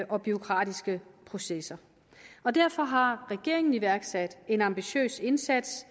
og bureaukratiske processer derfor har regeringen iværksat en ambitiøs indsats